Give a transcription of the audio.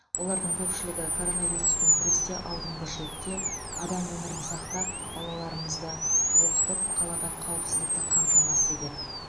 олардың көпшілігі коронавируспен күресте алдыңғы шепте адам өмірін сақтап балаларымызды оқытып қалада қауіпсіздікті қамтамасыз етеді